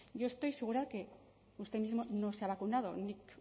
yo estoy segura de que usted mismo no se ha vacunado nik